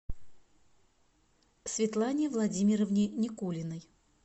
светлане владимировне никулиной